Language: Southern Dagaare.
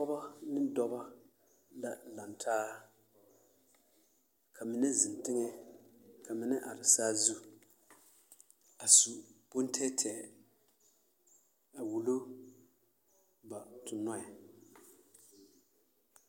Pɔgebɔ ne dɔbɔ la lantaa ka mine zeŋ teŋɛ ka mine are saazu a su bontɛɛtɛɛ a wulo ba tonnɔɛ.